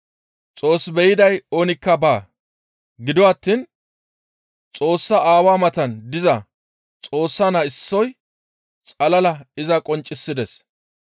Xoos be7iday oonikka baa. Gido attiin Xoossa Aawa matan diza Xoossa Naa issoy xalala iza qonccisides.